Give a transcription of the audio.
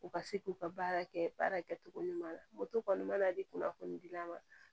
U ka se k'u ka baara kɛ baara kɛcogo ɲuman na kɔni mana di kunnafoni dila ma